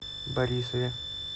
борисове